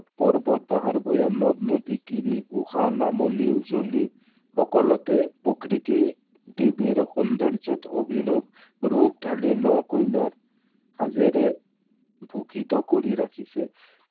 পৰ্বত, পাহাৰ, ভৈয়াম, নদ-নদী, গিৰি, গুহা, নামনি-উজনি সকলোতে প্ৰকৃতি, দেৱীৰ সৌন্দৰ্যত অভিনৱ, ৰূপ ঢালি, ন কইনাৰ সাঁজেৰে ভূষিত কৰি ৰাখিছে।